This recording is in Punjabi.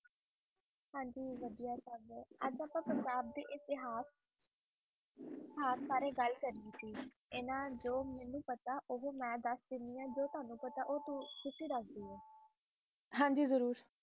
ਆਏ ਦੱਸੋ ਪੰਜਾਬ ਦੇ ਇਤਿਹਾਸ ਇਤਿਹਾਸ ਬਾਰੇ ਗੱਲ ਕਰਨੀ ਸੀ ਇਨ੍ਹਾਂ ਜੋ ਜੋ ਮੈਨੂੰ ਪਤਾ ਮੇਂ ਦੱਸਦੀ ਆਂ ਜੋ ਤੁਵਾਂਨੂੰ ਪਤਾ ਉਹ ਤੁਸੀ ਦੱਸੋ ਹਨ ਜੀ ਜ਼ਰੂਰ